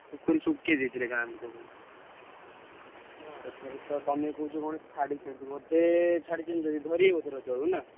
ପୋଖରୀ ସୁକେଇ ଦେଇଥିଲେ ଗାଁ ଲୋକମାନେ। ଏଥରତ ତମେ କହୁଛ କଣ ଛାଡିଛନ୍ତି ବୋଧେ ଛାଡିଛନ୍ତି ଯଦି ଧରିବେ ବୋଧେ ରଜ ବେଳକୁ ନା?